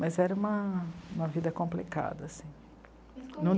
Mas era uma vida complicada assim. E